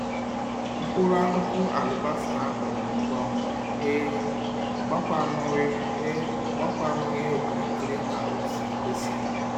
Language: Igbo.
Mkpuru akuku alibasa ha kponwuru ngwa ngwa e e o gbakwanughi e o gbakwanughi okiri kiri ka o si kwesi.